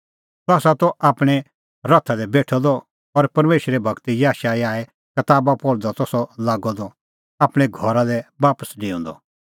सह त आपणैं रथा दी बेठअ द और परमेशरे गूर याशायाहे कताबा पहल़दी त सह लागअ द आपणैं घरा लै बापस डेऊंदअ